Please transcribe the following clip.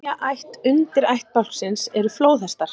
Þriðja ætt undirættbálksins eru flóðhestar.